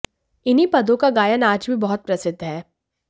इन्हीं पदों का गायन आज भी बहुत प्रसिद्ध है